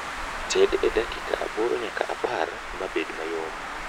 Ted e dakika aboro nyaka apar mabed mayom